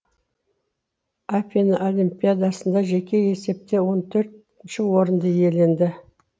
афина олимпиадасында жеке есепте он төртінші орынды иеленді